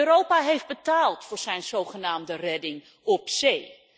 Europa heeft betaald voor zijn zogenaamde redding op zee.